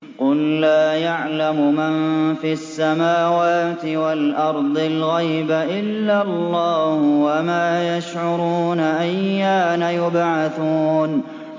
قُل لَّا يَعْلَمُ مَن فِي السَّمَاوَاتِ وَالْأَرْضِ الْغَيْبَ إِلَّا اللَّهُ ۚ وَمَا يَشْعُرُونَ أَيَّانَ يُبْعَثُونَ